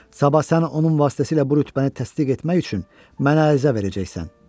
Sabah sən onun vasitəsilə bu rütbəni təsdiq etmək üçün mənə ərizə verəcəksən.